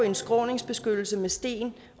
en skråningsbeskyttelse med sten